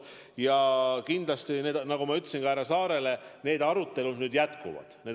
Ja kindlasti, nagu ma ütlesin ka härra Saarele, need arutelud jätkuvad.